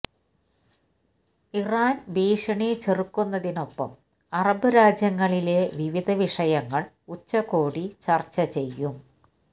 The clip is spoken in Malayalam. ഇറാൻ ഭീഷണി ചെറുക്കന്നതിനൊപ്പം അറബ് രാജ്യങ്ങളിലെ വിവിധ വിഷയങ്ങൾ ഉച്ചകോടി ചർച്ച ചെയ്യും